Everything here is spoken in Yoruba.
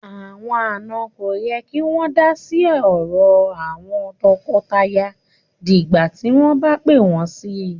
Àwọn àna kò yẹ kí wọn ma da sí òrò àwọn toko-toya di ìgbà tí wọn bá pé wón sí